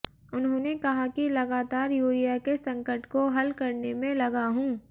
उन्होंने कहा कि लगातार यूरिया के संकट को हल करने में लगा हूँ